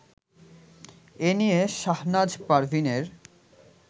এ নিয়ে শাহনাজ পারভীনের